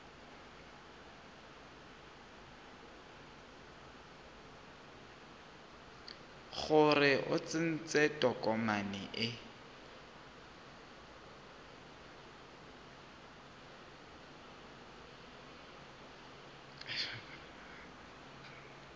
gore o tsentse tokomane e